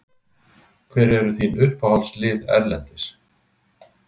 Hver eru þín uppáhaldslið erlendis?